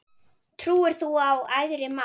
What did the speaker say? Trúir þú á æðri mátt?